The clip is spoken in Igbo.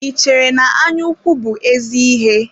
Ị chere na anya ukwu bụ ézí íhé?